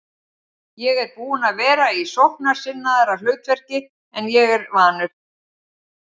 Ég er búinn að vera í sóknarsinnaðra hlutverki en ég er vanur.